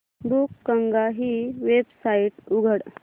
बुकगंगा ही वेबसाइट उघड